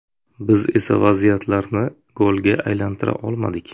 Biz esa vaziyatlarni golga aylantira olmadik.